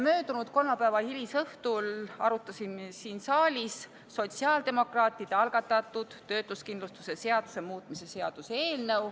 Möödunud kolmapäeva hilisõhtul arutasime siin saalis sotsiaaldemokraatide algatatud töötuskindlustuse seaduse muutmise seaduse eelnõu.